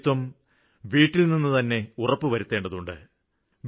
ശുചിത്വം വീട്ടില്നിന്നുതന്നെ ഉറപ്പുവരുത്തേണ്ടതുണ്ട്